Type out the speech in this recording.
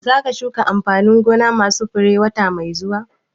Za ka shuka amfanin gona ma su fure wata mai zuwa?